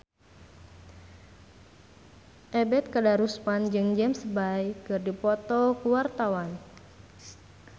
Ebet Kadarusman jeung James Bay keur dipoto ku wartawan